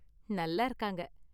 நல்லா இருக்காங்க.